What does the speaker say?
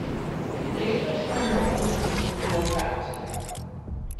Letošnja novost je tudi lokacija.